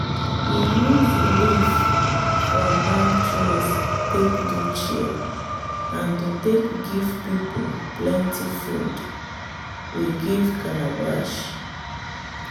we use the leaf from palm trees take do chair and to take give people plenty food we give calabash.